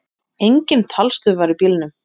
Engin talstöð var í bílnum.